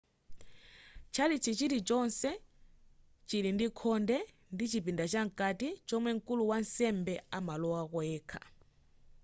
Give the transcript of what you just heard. tchalitchi chilichonse chili ndi khonde ndi chipinda cha nkati chomwe mkulu wa ansembe amalowako yekha